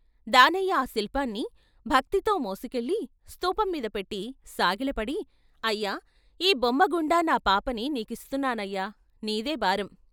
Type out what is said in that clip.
దానయ్య ఆ శిల్పాన్ని భక్తితో మోసుకెళ్ళి స్థూపం మీద పెట్టి సాగిలపడి "అయ్యా! ఈ బొమ్మగుండా నా పాపని నీకిస్తున్నానయ్యా ! నీదే భారం!